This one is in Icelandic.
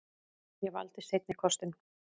Ég valdi seinni kostinn.